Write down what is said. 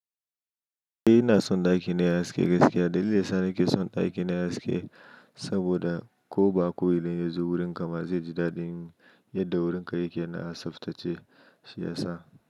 Eh ina son ɗaki na yaske gaskiya. Dalilin sa nake son ɗaki na yaske saboda ko ba ko wani ya zo wurinka ba zai ji daɗin yadda wurinka yake na asaftace shi ya sa.